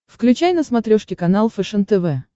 включай на смотрешке канал фэшен тв